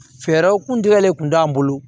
Fɛɛrɛw kun tigɛlen tun t'an bolo